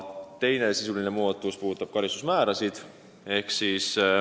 Teine sisuline muudatus on karistusmäärade kohta.